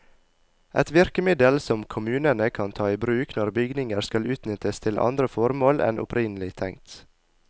Et virkemiddel som kommunene kan ta i bruk når bygninger skal utnyttes til andre formål enn opprinnelig tenkt.